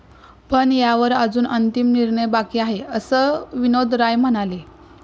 पण यावर अजून अंतिम निर्णय बाकी आहे, असं विनोद राय म्हणाले.